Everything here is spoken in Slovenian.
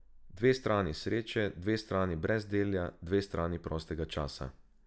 Dve strani sreče, dve strani brezdelja, dve strani prostega časa.